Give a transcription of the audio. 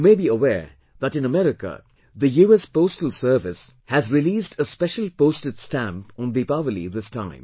You may be aware that in America, the US Postal Service has released a special postage stamp on Deepawali this time